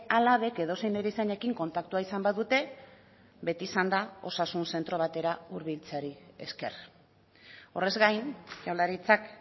alabek edozein erizainekin kontaktua izan badute beti izan da osasun zentro batera hurbiltzeari esker horrez gain jaurlaritzak